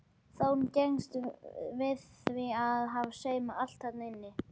Þórunn gengst við því að hafa saumað allt þarna inni.